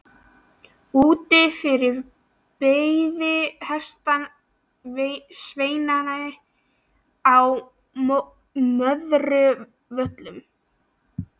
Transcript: Úti fyrir beið hestasveinninn á Möðruvöllum.